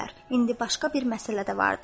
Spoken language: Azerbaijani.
İndi başqa bir məsələ də vardır.